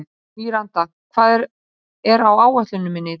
Míranda, hvað er á áætluninni minni í dag?